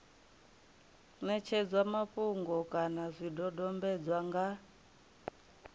ṋetshedzwa mafhungo kana zwidodombedzwa nga